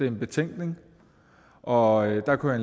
en betænkning og der kunne